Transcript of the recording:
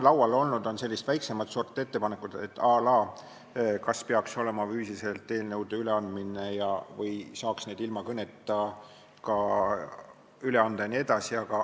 Laual on olnud sellised väiksemat sorti ettepanekud, à la kas eelnõude üleandmine peaks toimuma füüsiliselt või saaks neid ka ilma kõneta üle anda jne.